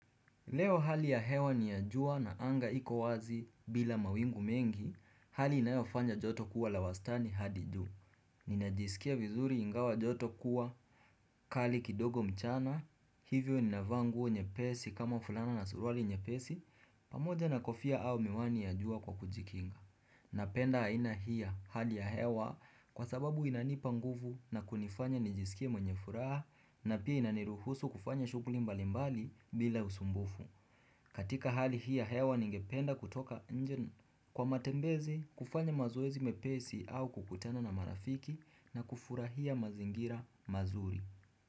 Leo hali ya hewa ni ya jua na anga iko wazi bila mawingu mengi, hali inayofanya joto kuwa la wastani hadi juu. Ninajiskia vizuri ingawa joto kuwa, kali kidogo mchana, hivyo ninavaa nguo nyepesi kama fulana na suruali nyepesi, pamoja na kofia au miwani ya jua kwa kujikinga. Napenda haina hii ya hali ya hewa kwa sababu inanipa nguvu na kunifanya nijiskie mwenye furaha na pia inaniruhusu kufanya shughuli mbalimbali bila usumbufu. Katika hali hii ya hewa ningependa kutoka nje kwa matembezi kufanya mazoezi mepesi au kukutana na marafiki na kufurahia mazingira mazuri.